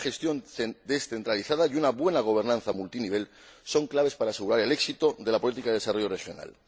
Una gestión descentralizada y una buena gobernanza a varios niveles son claves para asegurar el éxito de la política de desarrollo regional.